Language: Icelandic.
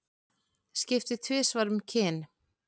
Skipti tvisvar um kyn